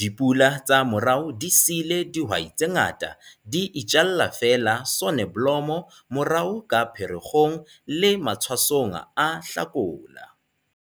DIPULA TSA MORAO DI SIILE DIHWAI TSE NGATA DI ITJALLA FEELA SONEBLOMO MORAO KA PHEREKGONG LE MATHWASONG A HLAKOLA.